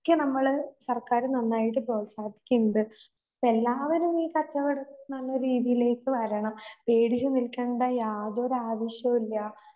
ക്ക് നമ്മള് സർക്കാർ നന്നായിട്ട് പ്രോത്സാഹിപ്പിക്കുകയുണ്ട്. പ്പഎല്ലാവരും ഈ കച്ചവടം നല്ല രീതിയിലേക്ക് വരണം. വീടിനും നിൽക്കേണ്ട യാതൊരാവശ്യവില്ലാ.